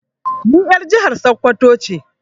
Ni er jihar sakwato ce.